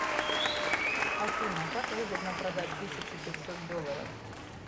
афина как выгодно продать тысячу пятьсот долларов